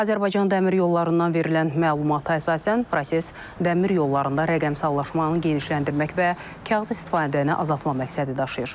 Azərbaycan Dəmir Yollarından verilən məlumata əsasən proses dəmir yollarında rəqəmsallaşmanı genişləndirmək və kağız istifadəni azaltmaq məqsədi daşıyır.